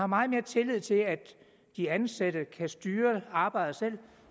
meget mere tillid til at de ansatte kan styre arbejdet selv